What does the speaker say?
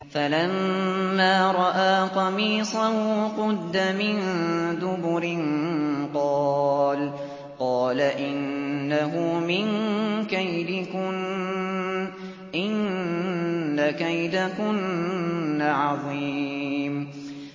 فَلَمَّا رَأَىٰ قَمِيصَهُ قُدَّ مِن دُبُرٍ قَالَ إِنَّهُ مِن كَيْدِكُنَّ ۖ إِنَّ كَيْدَكُنَّ عَظِيمٌ